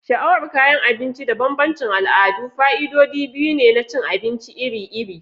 Sha'awar kayan abinci da bambancin al'adu fa'idodi biyu ne na cin abinci iri-iri.